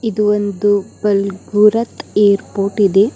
ಇದು ಒಂದು ಬಲ್ಗೂರತ್ ಏರ್ಪೋರ್ಟ್ ಇದೆ.